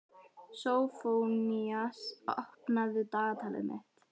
Sófónías, opnaðu dagatalið mitt.